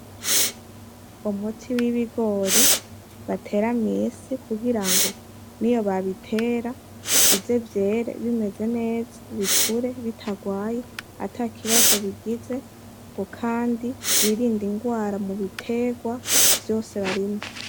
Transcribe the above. Umuti w'ibigori batera mw'isi kugirango niyo babitera bize vyere bimeze neza bikure bitagwaye atakibazo bigize ngo kandi birinde ingwara mu biterwa vyose barimye.